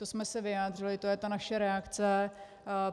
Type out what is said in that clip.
To jsme se vyjádřili, to je ta naše reakce.